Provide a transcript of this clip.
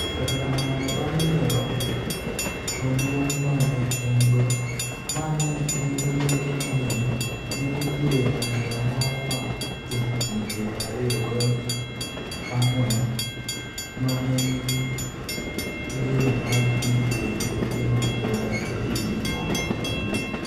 Kata kamano, bang' nyiero maduong' ma ne en-go, ma ne nigi leke mang'eny, ne nitie rawera moro ma jahigini piero ariyo goi angwen ma ne nigi geno mar dhi piem e tuke mag Ulaya e higini moko mabiro.